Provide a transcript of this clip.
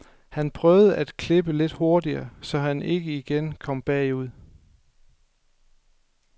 Han prøvede at klippe lidt hurtigere, så han ikke igen kom bagud.